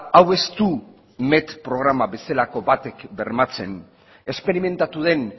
hau ez du met programa bezalako batek bermatzen esperimentatu den